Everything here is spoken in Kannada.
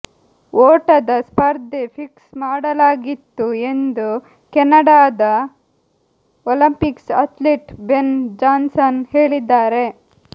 ಓಟದ ಸ್ಪರ್ಧೆ ಫಿಕ್ಸ್ ಮಾಡಲಾಗಿತ್ತು ಎಂದು ಕೆನಡಾದ ಒಲಂಪಿಕ್ಸ್ ಅಥ್ಲೀಟ್ ಬೆನ್ ಜಾನ್ಸನ್ ಹೇಳಿದ್ದಾರೆ